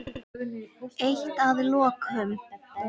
Eitt að lokum.